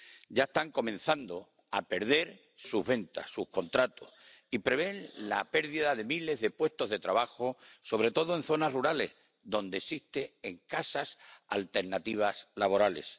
Ya están comenzando a perder sus ventas, sus contratos, y prevén la pérdida de miles de puestos de trabajo, sobre todo en zonas rurales, donde existen escasas alternativas laborales.